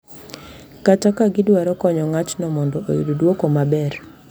Kata ka gidwaro konyo ng’atno mondo oyud dwoko maber.